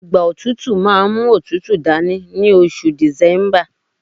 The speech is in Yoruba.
igba otutu ma n mu otutu dani ni oṣù december